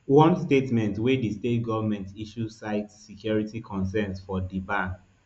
one statement wey di state goment issue cite security concerns for di ban